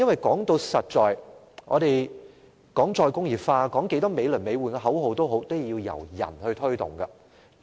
說到底，即使我們談"再工業化"，繼續叫喊美輪美奐的口號，但最終也需人才推動。